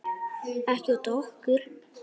Ekki út af okkur.